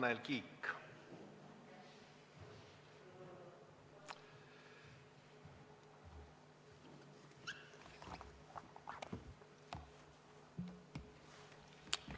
Tanel Kiik on enne.